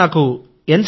sir నాకు ఎన్